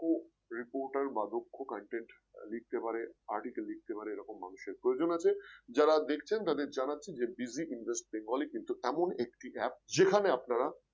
Reporter বা দক্ষ content লিখতে পারে article লিখতে পারে এরকম মানুষের প্রয়োজন আছে যারা দেখছেন তাদের জানাচ্ছি Digit Invest Bengali কিন্তু এমন একটি App যেখানে আপনারা